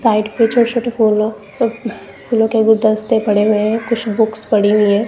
Site पे छोटे छोटे फूलों प फूलों के गुलदस्ते पड़े हुए हैं कुछ बुक्स पड़ी हुई हैं।